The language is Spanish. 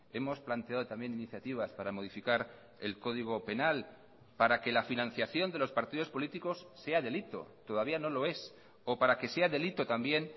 hemos planteado también iniciativas para modificar el código penal para que la financiación de los partidos políticos sea delito todavía no lo es o para que sea delito también